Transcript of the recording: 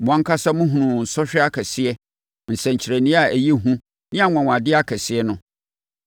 Mo ankasa mohunuu sɔhwɛ akɛseɛ, nsɛnkyerɛnneɛ a ɛyɛ hu ne anwanwadeɛ akɛseɛ no.